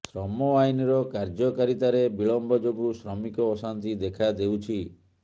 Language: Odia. ଶ୍ରମ ଆଇନର କାର୍ଯ୍ୟକାରିତାରେ ବିଳମ୍ବ ଯୋଗୁଁ ଶ୍ରମିକ ଅଶାନ୍ତି ଦେଖାଦେଉଛି